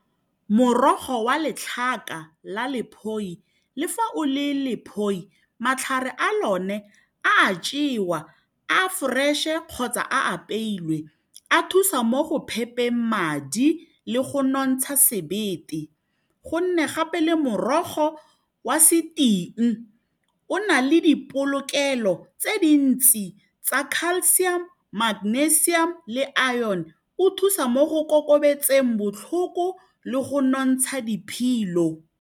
Morogo wa letlhaka la lephoi le fa o le lephoi matlhare a lone a jewa a fresh-e kgotsa a apeilwe a thusa mo go phepheng madi le go nontsha sebete gonne gape le morogo wa seting o na le dipolokelo tse dintsi tsa calcium, magnesium le iron o thusa mo go kokobetseng botlhoko le go nontsha diphilo.